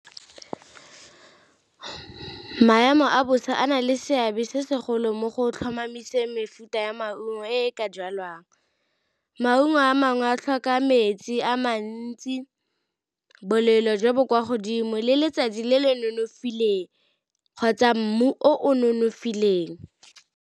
Ke maemo a bosa a na le seabe se segolo mo go tlhomamise mefuta ya maungo e ka jalwang, maungo a mangwe a tlhoka metsi a mantsi, bolelo jo bo kwa godimo le letsatsi le le nonofileng kgotsa mmu o nonofileng.